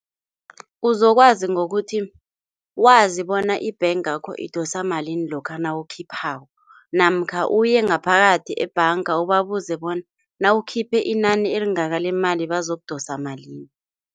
Uzokwazi ngokuthi wazi bona ibhangakho idosa malini lokha nawukhiphako namkha, uyengaphakathi ebhanga ubabuze bona nawukhiphe inani elingaka lemali bazokudosa malini.